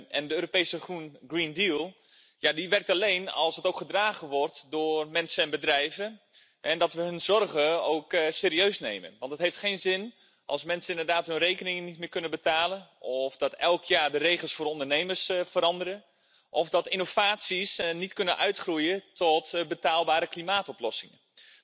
En de Europese Green Deal werkt alleen als die ook gedragen wordt door mensen en bedrijven en als wij hun zorgen ook serieus nemen, want het heeft geen zin als mensen inderdaad hun rekeningen niet meer kunnen betalen of dat elk jaar de regels voor ondernemers veranderen of dat innovaties niet kunnen uitgroeien tot betaalbare klimaatoplossingen.